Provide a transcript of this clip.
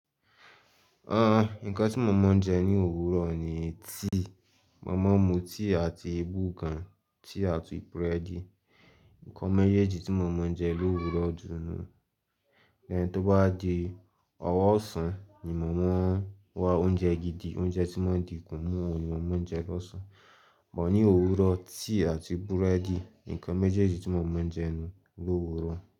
Àh, nǹkan tí mo máa ń jẹ ní òwúrọ̀ ni tea. Mo máa ń mu tea àti bùgan, tea àti búrẹ́dì. Ǹkan méjèèjì tí mo máa ń jẹ lówúrọ̀ ju nu. Lẹ́yìn tó bá wa di ọ̀wọ̀ọ̀sán ni mo máa ń wá oúnjẹ gidi. Oúnjẹ tí wọ́n di ikún mú ohun ni mo máa ń jẹ lọ́sàn-án. But ní òwúrọ̀, tea àti búrẹ́dì, ǹkan méjèèjì tí mo máa ń jẹ nu lòwúrọ̀.